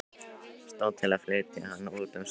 Stóð til að flytja hann út um sumarið.